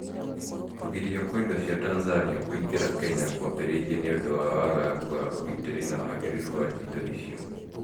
Kũgirio kwa indo cia Tanzania kũingĩra Kenya kwambĩrĩirie nĩ ũndũ wa wagagu wa ũgitĩri na wagĩrĩru wa indo icio